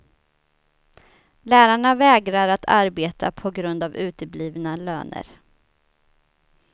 Lärarna vägrar att arbeta på grund av uteblivna löner.